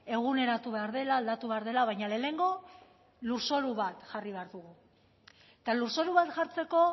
eguneratu behar dela aldatu behar dela baina lehenengo lurzoru bat jarri behar dugu eta lurzoru bat jartzeko